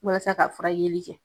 Walasa ka fura yeli kɛ